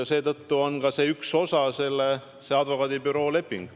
Seetõttu on ka see advokaadibüroo leping, see on üks osa sellest tööst.